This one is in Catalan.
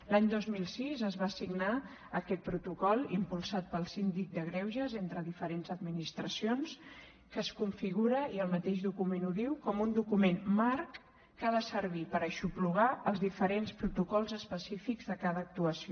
l’any dos mil sis es va signar aquest protocol impulsat pel síndic de greuges entre diferents administracions que es configura i el mateix document ho diu com un document marc que ha de servir per aixoplugar els diferents protocols específics de cada actuació